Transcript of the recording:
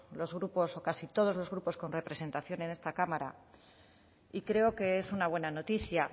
los grupos o casi todos los grupos con representación en esta cámara y creo que es una buena noticia